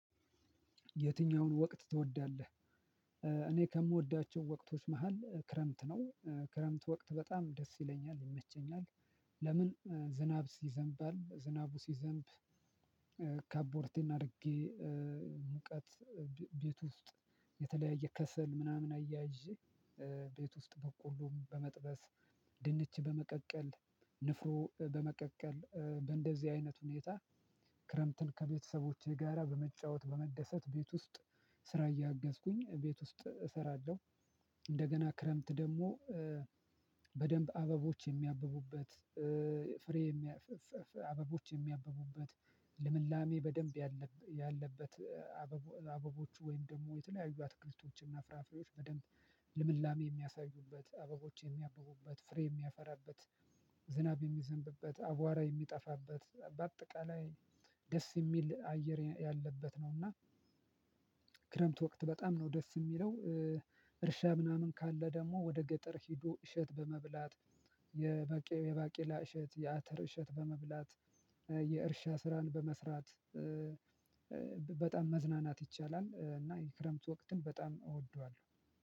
የትኛውን ወቅት ትወዳለህ? እኔ ከምወዳቸው ወቅቶች መሃል ክረምት ነው ክረምት ወቅት በጣም ደስ ይለኛል ይመቸኛል። ለምን ዝናብ ሲዘንባል ዝናቡ ሲዘንብ። ካቦርቴን አርጌ። ሙቀት ቤት ውስጥ የተለያየ ከሰል ምናምን አያይዤ። ቤት ውስጥ በቆሎም በመጥበስ ድንች በመቀቀል ንፍሮ በመቀቀል በእንደዚህ አይነት ሁኔታ። ክረምትን ከቤተሰቦቼ ጋራ በመጫወት በመደሰት ቤት ውስጥ ስራ እያገዝኩኝ ቤት ውስጥ እሰራለሁ። እንደገና ክረምት ደሞ። በደንብ አበቦች የሚያብቡበት ፍሬ የሚያ አበቦች የሚያብቡበት ልምላሜ በደንብ ያለበት። አበቦ አበቦቹ ወይም ደሞ የተለያዩ አትክልቶችና ፍራፍሬዎች በደንብ ልምላሜ ሚያሳዩበት አበቦች የሚያበቡበት ፍሬ የሚያፈራበት። ዝናብ የሚዘንብበት አቧራ የሚጠፋበት በአጠቃላይ ደስ የሚል አየር ያለበት ነውና። ወቅት በጣም ነው ደስ ሚለው። እርሻ ምናምን ካለ ደሞ ወደ ገጠር ሄዶ እሸት በመብላት የመቄ የባቄላ እሸት የአተር እሸት በመብላት የእርሻ ስራን በመስራት። በጣም መዝናናት ይቻላል እና የክረምት ወቅትን በጣም እወደዋለሁ።